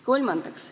Kolmandaks.